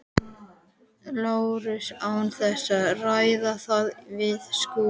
Lárus án þess að ræða það við Skúla?